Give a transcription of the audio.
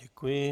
Děkuji.